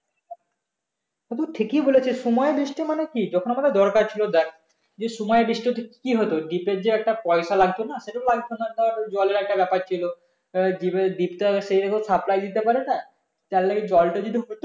তা তুই ঠিকই বলেছিস সময়ে বৃষ্টি মানে কি যখন আমাদের দরকার ছিল দেখ যে সময়ে বৃষ্টি হতো তো কি হতো deep এর যে একটা পয়সা লাগতো না সেটা তো লাগতো না ধর জলের একটা ব্যাপার ছিল এবার deep এর deep তো সেভাবে supply দিতে পারে না তার জন্য জলটা